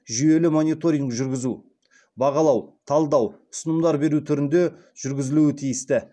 жүйелі мониторинг жүргізу бағалау талдау ұсынымдар беру түрінде жүргізілуі тиісті